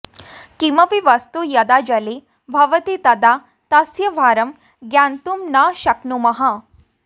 किमपि वस्तु यदा जले भवति तदा तस्य भारं ज्ञातुं न शक्नुमः